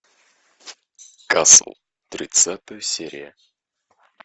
касл тридцатая серия